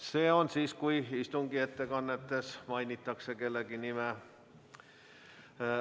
See on siis, kui istungi ettekannetes mainitakse kellegi nime.